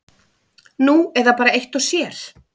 Nú eða bara eitt og sér.